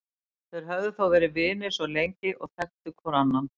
Þeir höfðu þó verið vinir svo lengi og þekktu hvor annan.